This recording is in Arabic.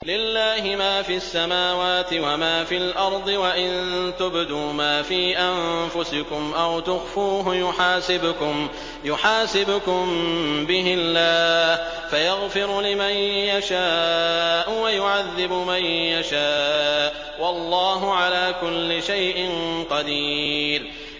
لِّلَّهِ مَا فِي السَّمَاوَاتِ وَمَا فِي الْأَرْضِ ۗ وَإِن تُبْدُوا مَا فِي أَنفُسِكُمْ أَوْ تُخْفُوهُ يُحَاسِبْكُم بِهِ اللَّهُ ۖ فَيَغْفِرُ لِمَن يَشَاءُ وَيُعَذِّبُ مَن يَشَاءُ ۗ وَاللَّهُ عَلَىٰ كُلِّ شَيْءٍ قَدِيرٌ